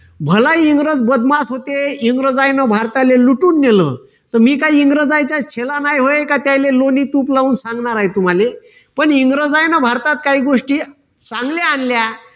भला इंग्रज बदमाश होते, इंग्रजांना भारतातले लुटून नेलं, तर मी काय इंग्रज आहे काय त्याले लोणी, तूप लावून सांगणार आहे तुम्हाले पण इंग्रज हाय ना भारतात काही गोष्टी चांगल्या आणल्या